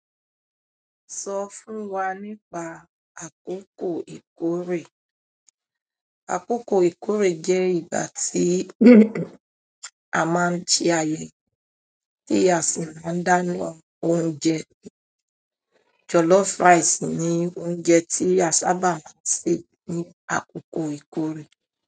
Sọ fún wa nípa àkókò ìkórè. Àkókò ìkórè jẹ́ ìgbà tí a máa ń sẹ ayẹyẹ tí a sì máa ń dáná oúnjẹ. Jollof rice ni oúnjẹ tí a sábà máa ń sè ní àkókò ìkórè.